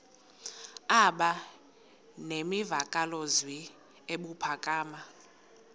aba nemvakalozwi ebuphakama